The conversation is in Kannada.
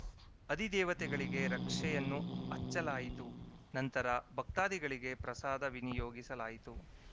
ಅಧಿದೇವತೆಗಳಿಗೆ ರಕ್ಷೆಯನ್ನು ಹಚ್ಚಲಾಯಿತು ನಂತರ ಭಕ್ತಾಧಿಗಳಿಗೆ ಪ್ರಸಾದ ವಿನಿಯೋಗಿಸಲಾಯಿತು